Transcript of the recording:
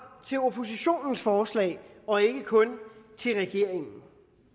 til oppositionens forslag og ikke kun til regeringens